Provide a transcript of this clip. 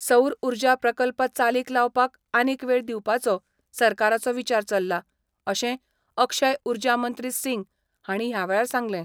सौर उर्जा प्रकल्प चालीक लावपाक आनीक वेळ दिवपाचो सरकाराचो विचार चल्ला, अशें अक्षय उर्जा मंत्री सिंग हाणी ह्या वेळार सांगलें.